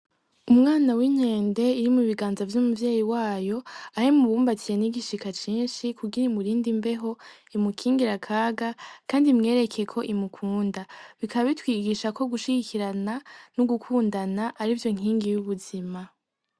Umwana w'inkende iri mu biganza vy'umuvyeyi wayo aho imubumbatiye n'igishika cinshi kugira imurinde imbeho, imukingire akaga kandi imwereke ko imukunda, bikaba bitwigisha ko gushigikirana n'ugukundana arivyo nkingi y'ubuzima.